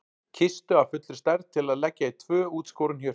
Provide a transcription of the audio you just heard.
Kistu af fullri stærð til að leggja í tvö útskorin hjörtu.